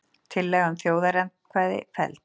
Tillaga um þjóðaratkvæði felld